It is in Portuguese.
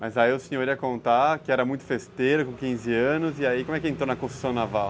Mas aí o senhor ia contar que era muito festeiro, com quinze anos, e aí como é que entrou na construção naval?